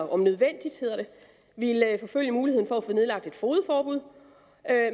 om nødvendigt ville forfølge muligheden for at få nedlagt et fogedforbud